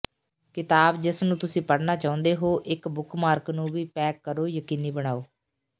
ਕਿਤਾਬ ਜਿਸ ਨੂੰ ਤੁਸੀਂ ਪੜ੍ਹਨਾ ਚਾਹੁੰਦੇ ਹੋ ਇੱਕ ਬੁੱਕਮਾਰਕ ਨੂੰ ਵੀ ਪੈਕ ਕਰੋ ਯਕੀਨੀ ਬਣਾਓ